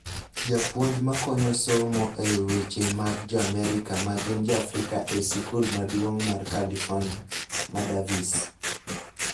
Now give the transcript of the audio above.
Japuonj ma konyo somo weche mag Jo-Amerika ma gin Jo-Afrika e sikul maduong� mar California, ma Davis,